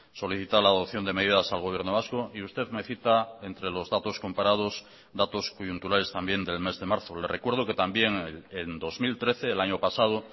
solicita la adopción de medidas al gobierno vasco y usted me cita entre los datos comparados datos coyunturales también del mes de marzo le recuerdo que también en dos mil trece el año pasado